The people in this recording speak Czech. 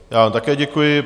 Já vám také děkuji.